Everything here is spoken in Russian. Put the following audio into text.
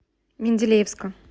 менделеевска